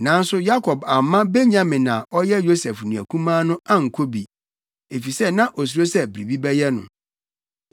Nanso Yakob amma Benyamin a ɔyɛ Yosef nua kumaa no ankɔ bi, efisɛ na osuro sɛ biribi bɛyɛ no.